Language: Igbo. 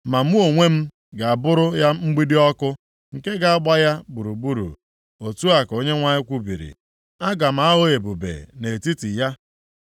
Ma mụ onwe m ga-abụrụ ya mgbidi ọkụ nke ga-agba ya gburugburu.’ Otu a ka Onyenwe anyị kwubiri. ‘Aga m aghọ ebube nʼetiti ya.’